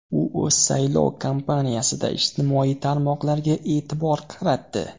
U o‘z saylov kampaniyasida ijtimoiy tarmoqlarga e’tibor qaratdi.